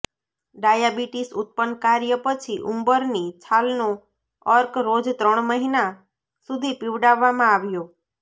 diabetes ઉત્પન્ન કાર્ય પછી ઉંબરની છાલનો અર્ક રોજ ત્રણ મહિના સુધી પીવડાવવામાં આવ્યો